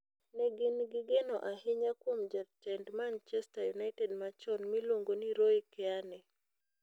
Ne gin gi geno ahinya kuom jatend Manchester United machon miluongo ni Roy Keane.